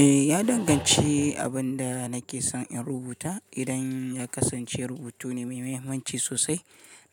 Eh, ya danganci abin da nake son in rubuta. Idan ya kasance rubutu ne mai mahimmanci sosai,